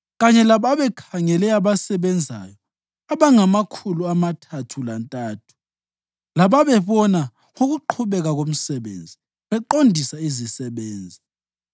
kanye lababekhangele abasebenzayo abangamakhulu amathathu lantathu lababebona ngokuqhubeka komsebenzi beqondisa izisebenzi.